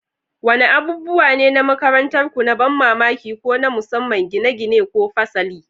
Wadanne abubuwa ne na makarantarku na ban mamaki ko na musamman gine-gine ko fasali?